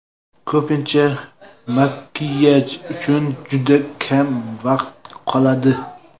Ko‘pincha makiyaj uchun juda kam vaqt qoladi.